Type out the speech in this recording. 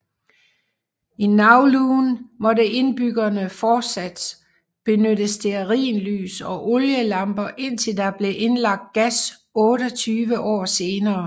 I Kowloon måtte indbyggerne fortsat benytte stearinlys og olielamper indtil der blev indlagt gas 28 år senere